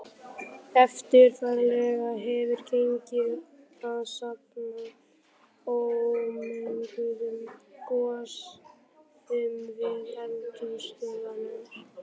Erfiðlega hefur gengið að safna ómenguðum gosgufum við eldstöðvar.